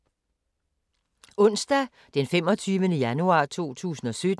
Onsdag d. 25. januar 2017